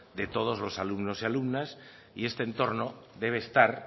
de todos los alumnos y alumnas y este entorno debe estar